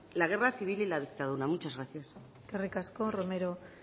la guerra civil y la dictadura muchas gracias eskerrik asko romero